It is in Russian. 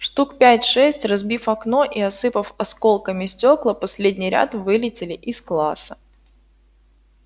штук пять-шесть разбив окно и осыпав осколками стекла последний ряд вылетели из класса